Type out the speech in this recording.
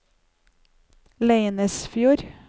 Leinesfjord